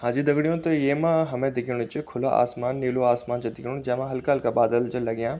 हांजी दगड़ियों तो येमा हमें दिखेणु च खुला आसमान नीलू आसमान च दिखेणु जेमा हल्का-हल्का बादल च लग्याँ।